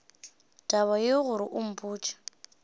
taba yeo gore o mpotše